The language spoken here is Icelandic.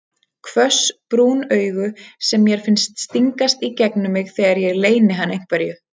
Hvöss brún augu sem mér finnst stingast í gegnum mig þegar ég leyni hann einhverju.